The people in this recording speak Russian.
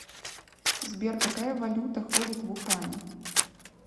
сбер какая валюта ходит в ухане